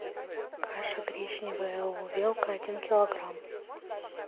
каша гречневая увелка один килограмм